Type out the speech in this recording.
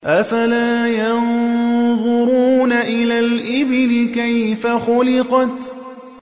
أَفَلَا يَنظُرُونَ إِلَى الْإِبِلِ كَيْفَ خُلِقَتْ